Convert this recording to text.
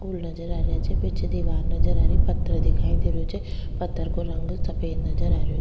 फूल नजर आ रिया छे पीछे दिवार नजर आ रही पत्थर दिखाई दे रहो छे पत्थर को रंग सफेद नजर आ रहियो।